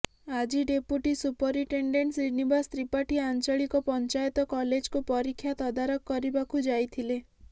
ଆଜି deputy superintendent Srinivas Tripathi Anchalik Panchayat କଲେଜକୁ ପରୀକ୍ଷା ତଦାରଖ କରିବାକୁ ଯାଇଥିଲେ